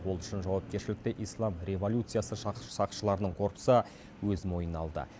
ол үшін жауакершілікті ислам революциясы сақшыларының корпусы өз мойнына алды